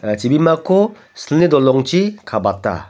ia chibimako silni dolongchi kabata.